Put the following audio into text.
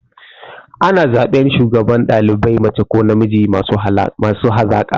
Ana zaɓan shugaban ɗalibai mace ko namiji masu hazaƙa.